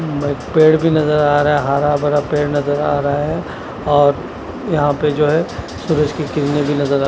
बस पेड़ भी नजर आ रहा हरा भरा पेड़ नजर आ रहा है और यहा पे जो है सूरज की किरने भी नजर आ--